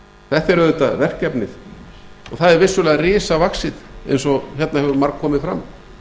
þetta er auðvitað verkefnið og það er vissulega risavaxið eins og hérna hefur margkomið fram